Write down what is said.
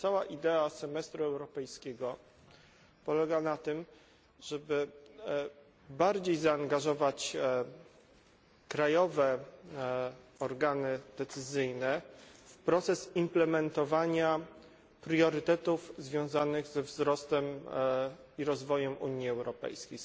Bo cała idea semestru europejskiego polega na tym, żeby bardziej zaangażować krajowe organy decyzyjne w proces implementowania priorytetów związanych ze wzrostem i rozwojem Unii Europejskiej.